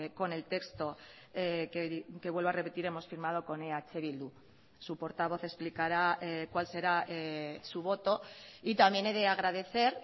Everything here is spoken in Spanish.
con el texto que vuelvo a repetir hemos firmado con eh bildu su portavoz explicará cuál será su voto y también he de agradecer